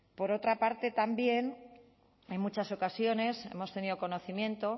por otra parte también en muchas ocasiones hemos tenido conocimiento